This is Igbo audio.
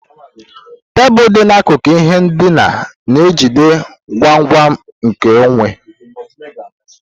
Tebụl dị n'akụkụ ihe ndina na-ejide ngwongwo nkeonwe.